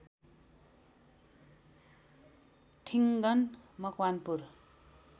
Thingan Makwanpur